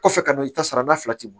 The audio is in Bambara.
Kɔfɛ ka na i ta sara n'a fila tɛmɔ